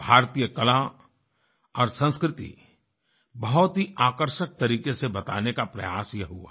भारतीय कला और संस्कृति बहुत ही आकर्षक तरीक़े से बताने का प्रयास यह हुआ है